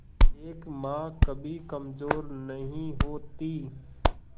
एक मां कभी कमजोर नहीं होती